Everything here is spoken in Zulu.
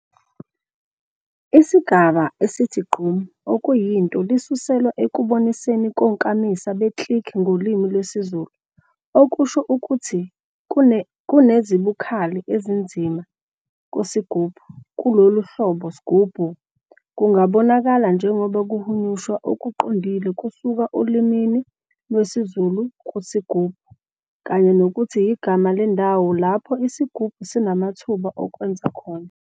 Isigaba esithi gqom, okuyinto lisuselwa ekuboniseni konkamisa be-click ngolimi lwesiZulu, okusho ukuthi kunezibukhali ezinzima kusigubhu. Kulolu hlobo, "sghubu" kungabonakala njengoba kuhunyushwa okuqondile kusuka olimini lwesiZulu kusigubhu, kanye nokuthi yigama lendawo lapho isigubhu sinamathuba okwenza khona.